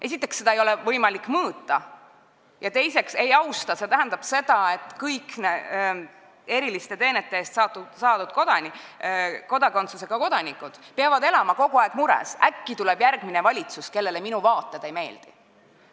Esiteks, seda ei ole võimalik mõõta ja teiseks, see tähendab seda, et kõik eriliste teenete eest saadud kodakondsusega inimesed peavad elama kogu aeg mures, et äkki tuleb järgmine valitsus, kellele minu vaated ei meeldi.